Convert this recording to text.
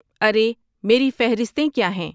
ارے میری فہرستیں کیا ہیں